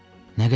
Nə qədər?